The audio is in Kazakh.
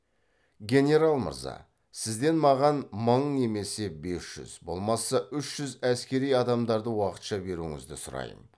генерал мырза сізден маған мың немесе бес жүз болмаса үш жүз әскери адамдарды уақытша беруіңізді сұраймын